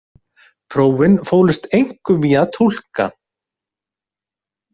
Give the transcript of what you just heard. Prófin fólust einkum í að túlka.